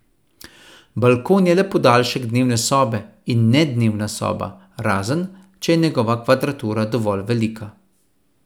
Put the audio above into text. Balkon je le podaljšek dnevne sobe, in ne dnevna soba, razen, če je njegova kvadratura dovolj velika.